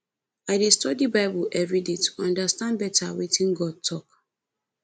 i dey study bible every day to understand better wetin god talk